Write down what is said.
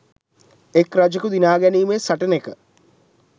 එක් රජෙකු දිනා ගැනීමේ සටනෙක